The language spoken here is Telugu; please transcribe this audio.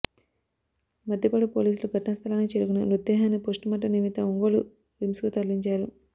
మద్దిపాడు పోలీసులు ఘటనా స్థలానికి చేరుకొని మృతదేహాన్ని పోస్టుమార్టం నిమిత్తం ఒంగోలు రిమ్స్కు తరలించారు